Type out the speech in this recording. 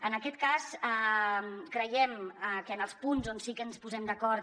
en aquest cas creiem que en els punts on sí que ens posem d’acord